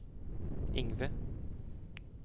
Ingve